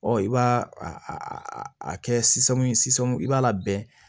Ɔ i b'a a kɛ sisan i b'a labɛn